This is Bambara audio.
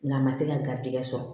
Nga a ma se ka garizigɛ sɔrɔ